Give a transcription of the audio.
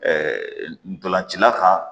ntolancila kan